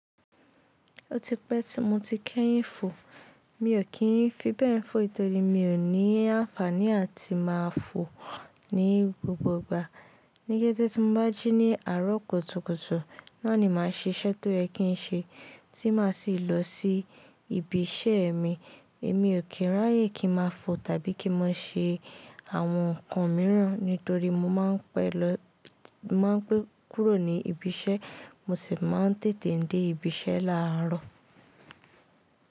Ó ti pẹ́ tí mo ti kẹ́yìn fò. Mi ò kí ń fi bẹ́ẹ̀ fò torí mi ò ní àǹfàní àti máa fò ní gbogbo ìgbà. Ni kété tí mo bá jí ní àárọ̀ kùtùkùtù, náà ni màá ṣe iṣẹ́ tó yẹ kí n ṣe, tí màá sì lọ sí ibi iṣẹ́ mi. Èmi ò kí n ráyé kí n máa fò tàbí kí n máa ṣe àwọn nǹkan mìíràn nítorí mo máa ń pẹ́ kúrò ní ibi iṣẹ́, mo sì máa ń tètè dé ibi iṣẹ́ láàárọ̀.